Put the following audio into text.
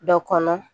Dɔ kɔnɔ